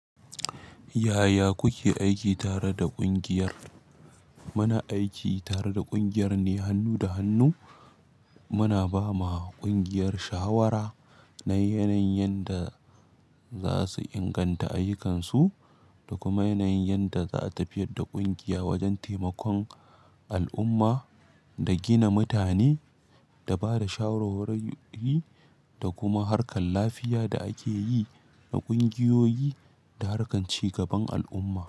Yaya kuke aiki tare da ƙungiyar? Muna aiki tare da ƙungiyar ne hannu da hannu. Muna bama ƙungiyar shawara. Na yanayin yanda za su inganta ayyukansu da kuma yanayin yanda za a tafiyar da ƙungiya wajen taimakon al'umma da gina mutane da bada shawarwari da kuma harkar lafiya da ake yi na ƙungiyoyi da harkar ci gaban al'umma.